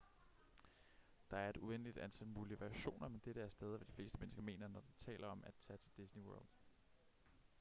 der er et uendeligt antal mulige variationer men dette er stadig hvad de fleste mennesker mener når de taler om at tage til disney world